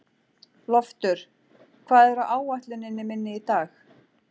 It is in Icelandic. Loftur, hvað er á áætluninni minni í dag?